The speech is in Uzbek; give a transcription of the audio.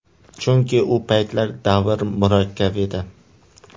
Chunki u paytlar davr murakkab edi.